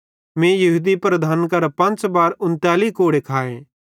मीं यहूदन लीडरेईं करां पंच़ बार 39 कोड़े खाए